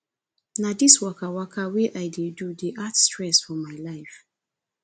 na dis wakawaka wey i dey do dey add stress for my life